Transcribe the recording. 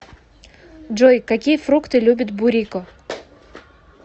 джой какие фрукты любит бурико